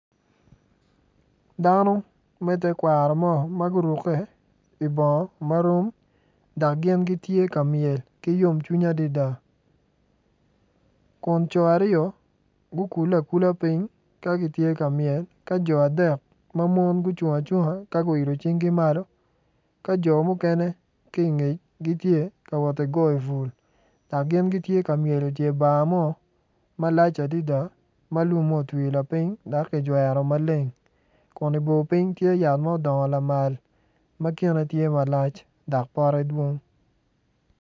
Dano me tekwaro mo ma gitye ma gurukke i bongo marom dok gin gitye ka myel ki yomcwiny adada kun co aryo gukulle akula piny ka gitye ka myel ka jo adek ma mon gucung acunga ka guilo cingi malo ka jo mukene ki i ngec gitye ka wot ki goyo bul dok gin gitye ka myel i dye bar mo malac adada ma lumme otwi lapiny dok kijwero maleng kun i bor piny tye yat ma odongo lamal dok pote tye madwong.